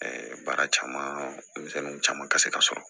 baara caman denmisɛnninw caman ka se ka sɔrɔ